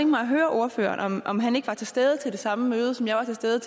mig at høre ordføreren om han ikke var til stede ved det samme møde som jeg var til stede